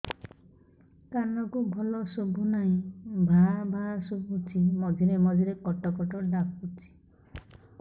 କାନକୁ ଭଲ ଶୁଭୁ ନାହିଁ ଭାଆ ଭାଆ ଶୁଭୁଚି ମଝିରେ ମଝିରେ କଟ କଟ ଡାକୁଚି